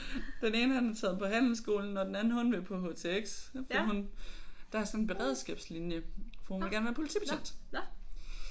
Den ene han er taget på handelsskolen og den anden hun vil på HTX for hun der er sådan en beredsskabslinje for hun vil gerne være politibetjent